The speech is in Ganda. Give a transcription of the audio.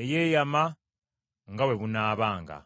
eyeeyama nga bwe bunaabanga.